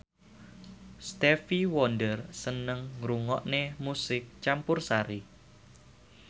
Stevie Wonder seneng ngrungokne musik campursari